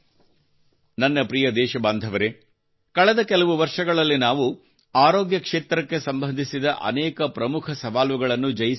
ನನ್ನ ಪ್ರಿಯ ದೇಶಬಾಂಧವರೆ ಕಳೆದ ಕೆಲವು ವರ್ಷಗಳಲ್ಲಿ ನಾವು ಆರೋಗ್ಯ ಕ್ಷೇತ್ರಕ್ಕೆ ಸಂಬಂಧಿಸಿದ ಅನೇಕ ಪ್ರಮುಖ ಸವಾಲುಗಳನ್ನು ಜಯಿಸಿದ್ದೇವೆ